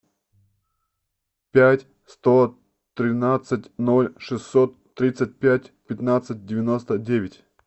пять сто тринадцать ноль шестьсот тридцать пять пятнадцать девяносто девять